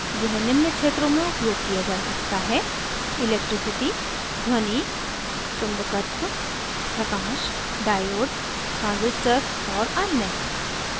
यह निम्न क्षेत्रों में उपयोग किया जा सकता हैelectricity ध्वनि sound चुंबकत्व magnetism प्रकाश light diode transistors और अन्य